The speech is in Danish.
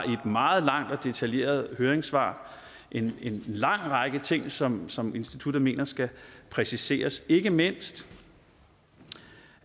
et meget langt og detaljeret høringssvar en lang række ting som som instituttet mener skal præciseres ikke mindst